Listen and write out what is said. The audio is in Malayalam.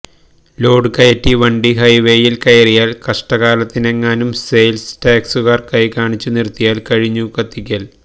ലോഡ് കയറ്റി വണ്ടി ഹൈവേയിൽ കയറിയാൽ കഷ്ടകാലത്തിനെങ്ങാനും സെയിൽ ടാക്സുകാർ കൈ കാണിച്ചു നിർത്തിയാൽ കഴിഞ്ഞു കത്തിക്കൽ